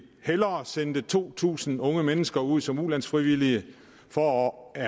hellere sende to tusind unge mennesker ud som ulandsfrivillige for at